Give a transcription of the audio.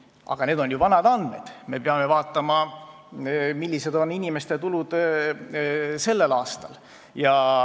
Aga need on ju vanad andmed, praegu me peame vaatama, millised on inimeste tulud sellel aastal.